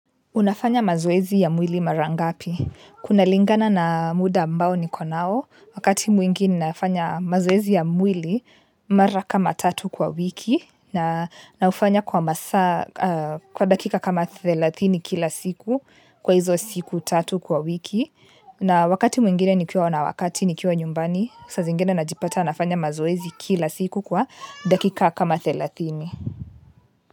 Unafanya mazoezi ya mwili mara ngapi? Kunalingana na muda ambao niko nao, wakati mwingi nafanya mazoezi ya mwili mara kama tatu kwa wiki, na naufanya kwa masaa, kwa dakika kama thelathini kila siku kwa hizo siku tatu kwa wiki. Na wakati mwingine nikiwa na wakati nikiwa nyumbani, sa zingine najipata nafanya mazoezi kila siku kwa dakika kama thelathini.